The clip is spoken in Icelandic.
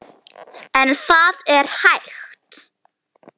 En það er hægt.